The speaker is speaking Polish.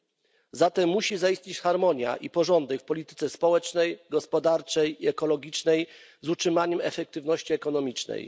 Muszą zatem zaistnieć harmonia i porządek w polityce społecznej, gospodarczej i ekologicznej z utrzymaniem efektywności ekonomicznej.